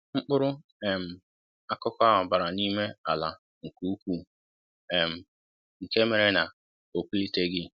Mkpụrụ um akụkụ ahụ bara n'ime ala nkè ukwuu, um nke méré na o pulitelighị